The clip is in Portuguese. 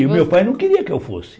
E o meu pai não queria que eu fosse.